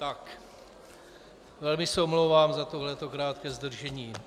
Tak, velmi se omlouvám za toto krátké zdržení.